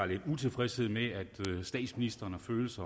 lidt utilfredshed med det statsministeren føles